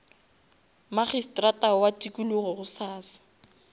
magistrata wa tikologo gosasa